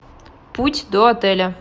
путь до отеля